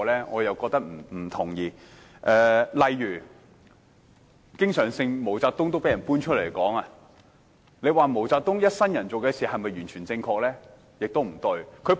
我不同意，例如毛澤東經常被人談論，你說毛澤東一生所做的事是否完全正確？